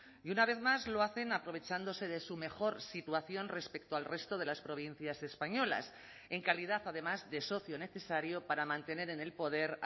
y una vez más lo hacen aprovechándose de su mejor situación respecto al resto de las provincias españolas en calidad además de socio necesario para mantener en el poder